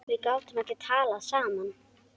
Við gátum ekki talað saman.